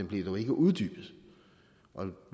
blev dog ikke uddybet